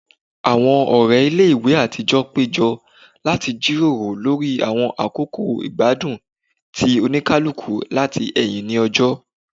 Awọn ọrẹ ile-iwe atijọ pejọ lati jiroro lori awọn akoko igbadun ti olukuluku lati ẹhin ni ọjọ